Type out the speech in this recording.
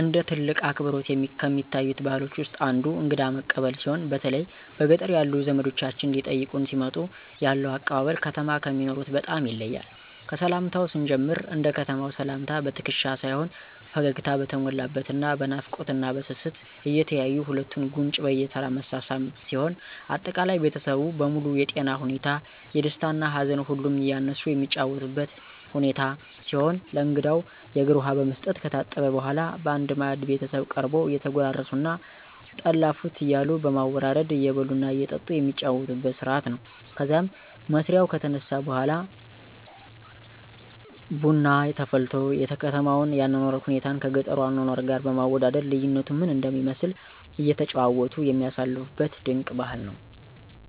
እንደ ትልቅ አክብሮት ከሚታዩት ባህሎች ውስጥ አንዱ እንግዳ መቀበል ሲሆን በተለይ በገጠር ያሉ ዘመዶቻችን ሊጠይቁን ሲመጡ ያለው አቀባበል ከተማ ከሚኖሩት በጣም ይለያል። ከሰላምታው ስንጀምር እንደ ከተማው ሰላምታ በትክሻ ሳይሆን ፈገግታ በተሞላበት እና በናፍቆት እና በስስት እየተያዩ ሁለቱን ጉንጭ በየተራ መሳሳም ሲሆን አጠቃላይ ቤተሰቡ በሙሉ የጤና ሁኔታ፣ የደስታ እና ሀዘን ሁሉንም እያነሱ የሚጨዋወቱበት ሁኔታ ሲሆን ለእንግዳው የእግር ውሃ በመስጠት ከታጠበ በኃላ በአንድ ማዕድ ቤተሰቡ ቀርቦ እየተጎራረሱ እና ጠላ ፉት እያሉ በማወራረድ እየበሉ እና እየጠጡ የሚጫወቱበት ስርአት ነው። ከዛም መስሪያው ከተነሳ በኃላ ቡና ተፈልቶ የከተማውን የአኗኗር ሁኔታን ከገጠሩ አኗኗር ጋር በማወዳደር ልዩነቱ ምን እንደሚመስል እየተጨዋወቱ የሚያሳልፉበት ድንቅ ባህል ነው።